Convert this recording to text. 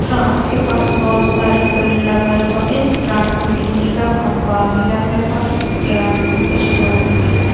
Ground के पास बहुत सारे पेड़ लगल बा इस ग्राउंड में बिजली का खम्बा भी लगल बा इस ग्राउंड में कुछ लोग भी बा।